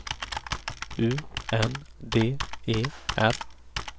U N D E R